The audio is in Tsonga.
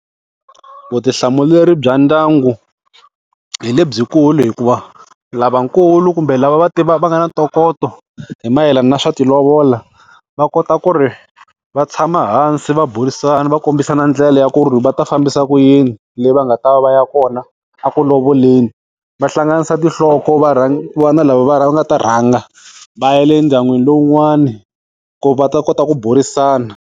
Vutihlamuleri bya ndyangu, hi lebyikulu hikuva lavakulu kumbe lava va va nga na ntokoto, hi mayelana na swa ti lovola va kota ku ri va tshama hansi va burisana va kombisana ndlela ya ku ri va ta fambisa ku yini le va nga ta va va ya kona aku lovoleni. Va hlanganisa tinhloko ku va na lava va nga ta rhanga va ya le ndyangwini lowun'wani ku ri va ta kota ku burisana.